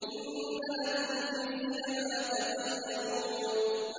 إِنَّ لَكُمْ فِيهِ لَمَا تَخَيَّرُونَ